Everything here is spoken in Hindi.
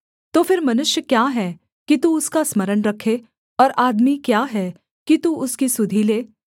तो फिर मनुष्य क्या है कि तू उसका स्मरण रखे और आदमी क्या है कि तू उसकी सुधि ले